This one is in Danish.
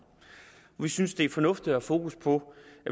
vi synes det er fornuftigt at have fokus på